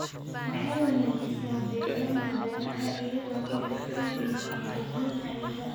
Waxay wanaajisaa deegaanka beeraha iyadoo ka hortagaysa nabaadguurka ciidda.